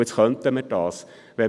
Dies könnten wir jetzt tun.